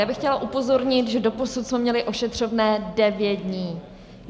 Já bych chtěla upozornit, že doposud jsme měli ošetřovné 9 dnů.